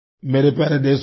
मेरे प्यारे देशवासियों